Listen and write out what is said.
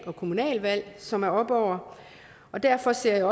og kommunalvalg som er oppe over og derfor ser